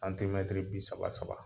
Antimɛtiri bi saba saba